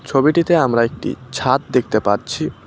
ছবিটিতে আমরা একটি ছাদ দেখতে পাচ্ছি।